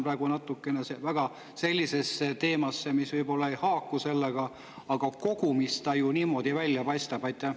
Võib-olla ma lähen praegu sellisesse teemasse, mis ei haaku selle, aga kogumis ta ju niimoodi välja paistab.